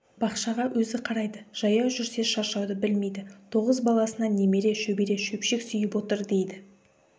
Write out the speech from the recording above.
бақшаға өзі қарайды жаяу жүрсе шаршауды білмейді тоғыз баласынан немере шөбере шөпшек сүйіп отыр дейді